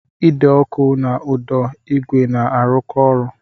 Ide ọkụ na ụdọ igwe na-arụkọ ọrụ